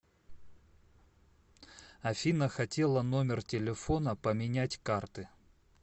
афина хотела номер телефона поменять карты